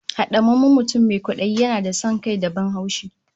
Hadamammen mutum mai kwadayi yana da son kai da ban haushi